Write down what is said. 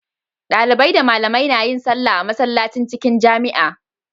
Dalibai da malamai nayin sallah a masallacin cikin jamia